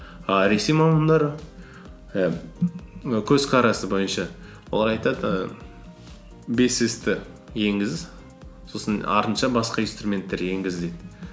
і ресей мамандары ііі көзқарасы бойынша олар айтады і бес с ті енгіз сосын басқа инструменттер енгіз дейді